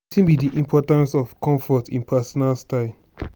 wetin be di importance of comfort in di personal style?